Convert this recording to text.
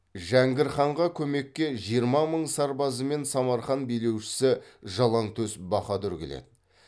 жәңгір ханға көмекке жиырма мың сарбазымен самарқан билеушісі жалаңтөс баһадүр келеді